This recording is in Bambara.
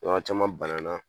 An caman banana